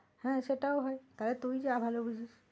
হ্যাঁ, সেটাও হয় তা হলে তুই যা ভালো বুঝবি।